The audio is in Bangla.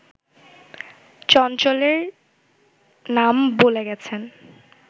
চঞ্চলের নাম বলে গেছেন